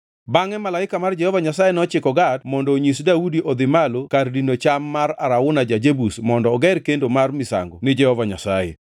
Bangʼe malaika mar Jehova Nyasaye nochiko Gad mondo onyis Daudi odhi malo kar dino cham ma Arauna ja-Jebus mondo oger kendo mar misango ni Jehova Nyasaye.